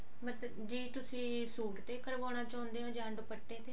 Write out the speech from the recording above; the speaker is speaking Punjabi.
ਮਤਲਬ ਕਿ ਤੁਸੀਂ ਸੂਟ ਤੇ ਕਰਵਾਉਣਾ ਚਾਹੁੰਦੇ ਹੋ ਜਾਂ ਦੁਪੱਟੇ ਤੇ